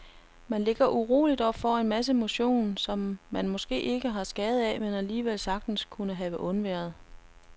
Man ligger uroligt og får en masse motion, som man måske ikke har skade af, men alligevel sagtens kunne have undværet.